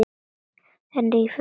En rífur ekki.